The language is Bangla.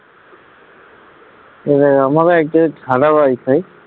এই দেখ আমারও actually সাদা wifi